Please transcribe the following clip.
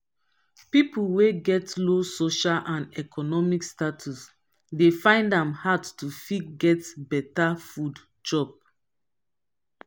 pipo wey get low social and economic status dey find am hard to fit get better food chop